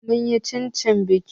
Mun yi cacan baki.